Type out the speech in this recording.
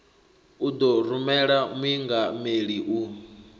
u ḓo rumela muingameli u